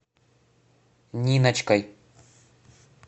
ниночкой